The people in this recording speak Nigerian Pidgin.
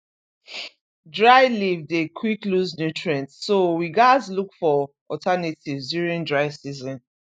dry leave dey quick lose nutrients so we gaz look for alternatives during dry season